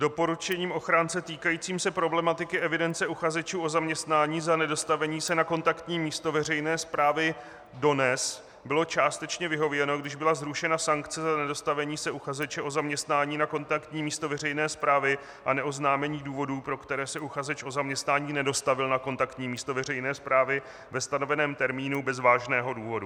Doporučením ochránce týkajícím se problematiky evidence uchazečů o zaměstnání za nedostavení se na kontaktní místo veřejné správy DONEZ bylo částečně vyhověno, když byla zrušena sankce za nedostavení se uchazeče o zaměstnání na kontaktní místo veřejné správy a neoznámení důvodů, pro které se uchazeč o zaměstnání nedostavil na kontaktní místo veřejné správy ve stanoveném termínu bez vážného důvodu.